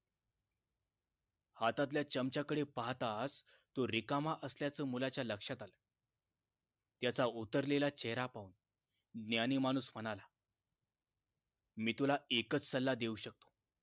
हातातल्या चमच्याकडे पाहताच तो रिकामा असल्याचा मुलाच्या लक्षात आलं त्याचा उतरलेला चेहरा पाहून ज्ञानी माणूस म्हणाला मी तुला एकच सल्ला देऊ शकतो